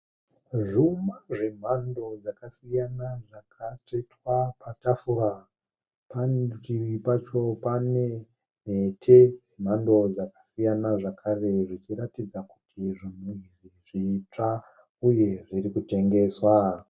Zvuma zvemhando dzakasiyana zvakatsvetwa patafura. Parutivi pacho pane mhete dzemhando dzakasiyana zvekare zvichiratidza kuti zvitsva uye zvirikutengeswa